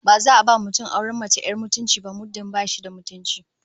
Ba za a ba mutum auren mace 'yar mutunci ba muddin ba shi da mutunci